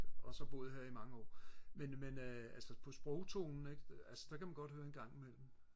og har så boet her i mange år men men øh altså på sprogtonen ikke altså der kan man godt høre det en gang imellem